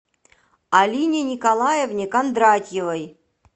алине николаевне кондратьевой